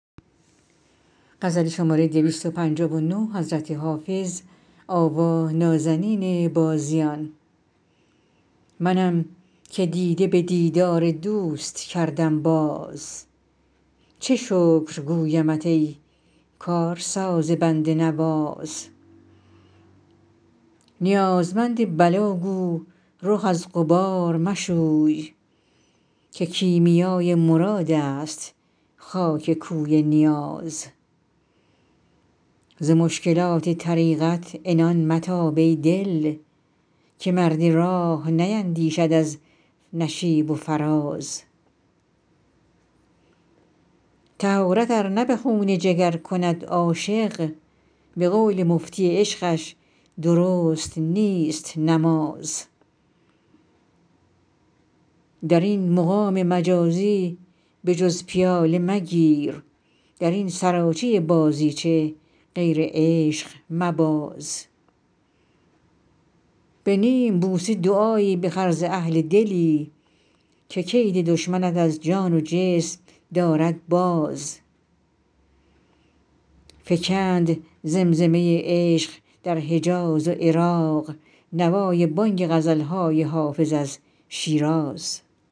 منم که دیده به دیدار دوست کردم باز چه شکر گویمت ای کارساز بنده نواز نیازمند بلا گو رخ از غبار مشوی که کیمیای مراد است خاک کوی نیاز ز مشکلات طریقت عنان متاب ای دل که مرد راه نیندیشد از نشیب و فراز طهارت ار نه به خون جگر کند عاشق به قول مفتی عشقش درست نیست نماز در این مقام مجازی به جز پیاله مگیر در این سراچه بازیچه غیر عشق مباز به نیم بوسه دعایی بخر ز اهل دلی که کید دشمنت از جان و جسم دارد باز فکند زمزمه عشق در حجاز و عراق نوای بانگ غزل های حافظ از شیراز